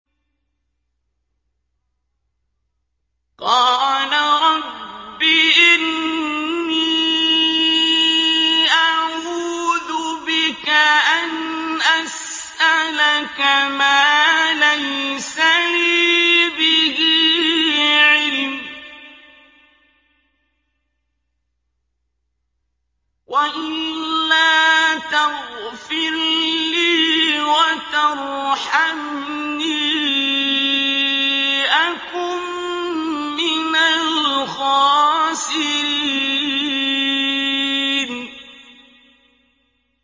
قَالَ رَبِّ إِنِّي أَعُوذُ بِكَ أَنْ أَسْأَلَكَ مَا لَيْسَ لِي بِهِ عِلْمٌ ۖ وَإِلَّا تَغْفِرْ لِي وَتَرْحَمْنِي أَكُن مِّنَ الْخَاسِرِينَ